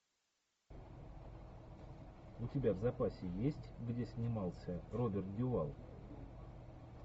у тебя в запасе есть где снимался роберт дюваль